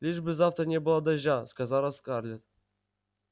лишь бы завтра не было дождя сказала скарлетт